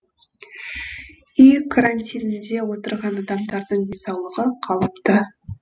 үй карантинінде отырған адамдардың денсаулығы қалыпты